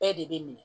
Bɛɛ de bɛ minɛ